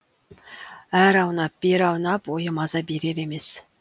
әрі аунап бері аунап ойы маза берер емес